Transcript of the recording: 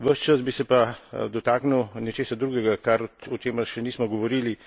Ves čas bi se pa dotaknil nečesa drugega, o čemer še nismo govorili.